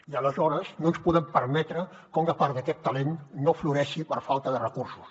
i aleshores no ens podem permetre que una part d’aquest talent no floreixi per falta de recursos